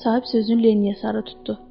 Sahib sözünü Linniyə sarı tutdu.